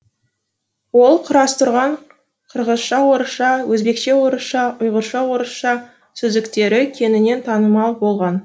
ол құрастырған қырғызша орысша өзбекше орысша ұйғырша орысша сөздіктері кеңінен танымал болған